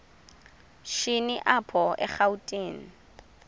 shini apho erawutini